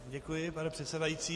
Děkuji, pane předsedající.